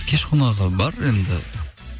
кеш қонағы бар енді